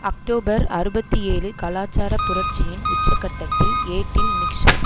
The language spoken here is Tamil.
அக்டோபர் அறுபத்தி ஏழு கலாச்சார புரட்சியின் உச்ச கட்டத்தில் ஏட்டில் நிக்சன்